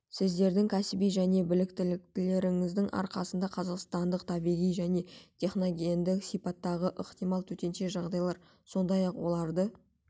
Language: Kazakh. сіздердің кәсіби және біліктіліктеріңіздің арқаңызда қазақстандықтар табиғи және техногендік сипаттағы ықтимал төтенше жағдайлар сондай-ақ оларды